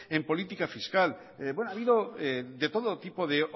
en política fiscal bueno ha habido de todo tipo de